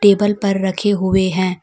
Table पर रखे हुए हैं।